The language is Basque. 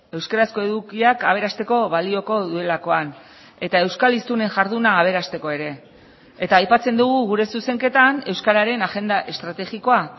euskarazko edukiak aberasteko balioko duelakoan eta euskal hiztunen jarduna aberasteko ere eta aipatzen dugu gure zuzenketan euskararen agenda estrategikoa